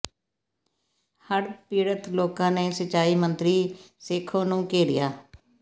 ਹੜ੍ਹ ਪੀੜਤ ਲੋਕਾਂ ਨੇ ਸਿੰਜਾਈ ਮੰਤਰੀ ਸੇਖੋਂ ਨੂੰ ਘੇਰਿਆ